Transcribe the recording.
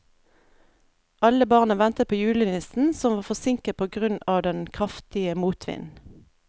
Alle barna ventet på julenissen, som var forsinket på grunn av den kraftige motvinden.